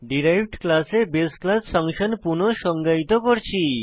derived ক্লাসে বাসে class function পুনঃ সংজ্ঞায়িত করছি